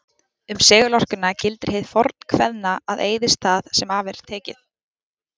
Um segulorkuna gildir hið fornkveðna að eyðist það sem af er tekið.